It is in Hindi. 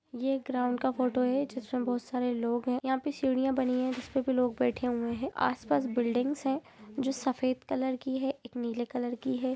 यह ग्राउंड का फोटो है जिसमें बहुत सारे लोग हैं यहां पर सीढ़ियां बनी है जिस पर भी लोग बैठे हुए हैं आस पास बिल्डिंग से जो सफेद कलर की है एक नीले कलर की है।